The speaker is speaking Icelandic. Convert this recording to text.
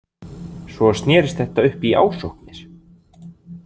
Svo snerist þetta upp í ásóknir.